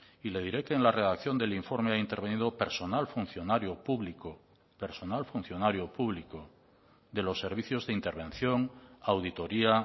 y le diré que en la redacción del informe ha intervenido personal funcionario público personal funcionario público de los servicios de intervención auditoría